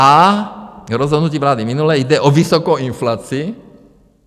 A rozhodnutí vlády minulé - jde o vysokou inflaci.